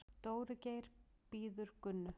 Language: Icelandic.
Dóri Geir bíður Gunnu.